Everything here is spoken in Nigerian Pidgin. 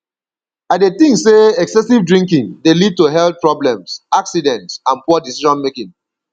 i dey think say excessive drinking dey lead to health problems accidents and poor decisionmaking